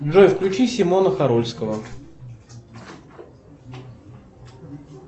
джой включи симона харульского